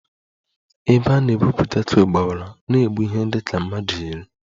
Ebe a na-egwupụta coal gbawara na-egbu ihe dị ka mmadụ iri